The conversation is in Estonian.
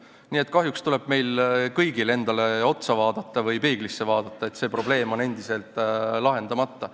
Nii et kahjuks tuleb meil kõigil endale otsa või peeglisse vaadata, et see probleem on endiselt lahendamata.